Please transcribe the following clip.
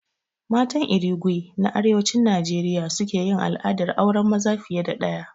Matan Irigwe na Arewacin Najeriya suke yin al'adar auren maza fiye da ɗaya